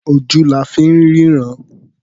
Ojú la fi ń ríran.